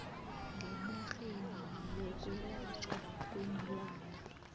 ngenarheni yokwelatjhwa kweenlwana